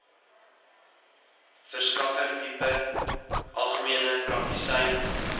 verskaffertipe algemene praktisyn